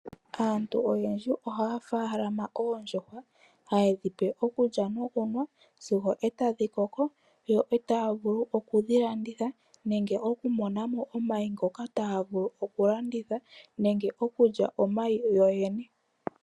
Aantu oyendji ohaya faalama oondjuhwa hayedhipe okulya nokunwa sigo etadhi koko yo etayavulu okudhi landitha, nenge okumonamo omayi ngoka tayavulu okulanditha nenge okulya omayi yoyene.